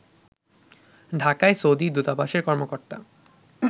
ঢাকায় সৌদি দূতাবাসের কর্মকর্তা